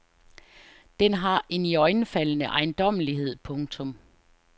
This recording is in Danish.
Den har en iøjnefaldende ejendommelighed. punktum